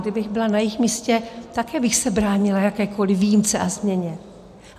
Kdybych byla na jejich místě, také bych se bránila jakékoliv výjimce a změně.